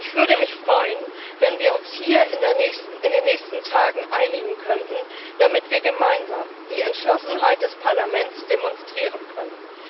Ich würde mich freuen, wenn wir uns hier in den nächsten Tagen einigen könnten, damit wir gemeinsam die Entschlossenheit des Parlaments demonstrieren können.